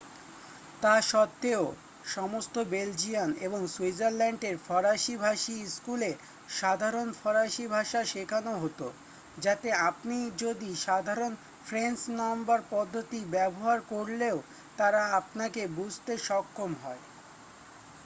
তা সত্ত্বেও সমস্ত বেলজিয়ান এবং সুইজারল্যাণ্ডের ফরাসীভাষী স্কুলে সাধারণ ফরাসী ভাষা শেখানো হতো যাতে আপনি যদি সাধারণ ফ্রেঞ্চ নম্বর পদ্ধতি ব্যবহার করলেও তারা আপনাকে বুঝতে সক্ষম হয়